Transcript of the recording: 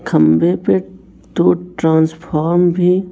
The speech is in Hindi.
खंभे पे दो ट्रांसफॉम भी--